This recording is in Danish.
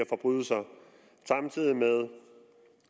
forbrydelser samtidig med